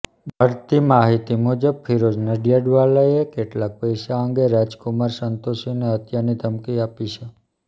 મળતી માહિતી મુજબ ફિરોઝ નડિયાદવાલાએ કેટલાંક પૈસા અંગે રાજકુમાર સંતોષીને હત્યાની ધમકી આપી છે